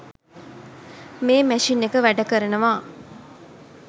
මේ මැෂින් එක වැඩකරනවා.